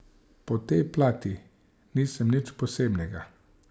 Po tej plati nisem nič posebnega.